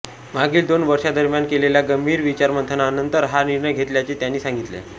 मागील दोन वर्षांदरम्यान केलेल्या गंभीर विचारमंथनानंतर हा निर्णय घेतल्याचे त्यांनी सांगितले